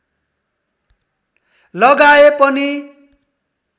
लगाए पनि